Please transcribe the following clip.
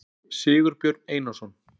sigurbjörn einarsson